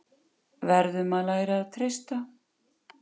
Verðum að læra að treysta